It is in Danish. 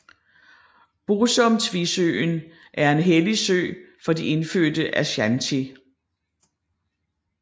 Bosumtwisøen er en hellig sø for de indfødte Ashanti